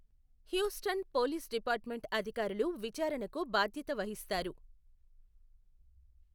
Houston police department అధికారులు విచారణకు బాధ్యత వహిస్తారు.